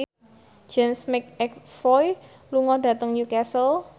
James McAvoy lunga dhateng Newcastle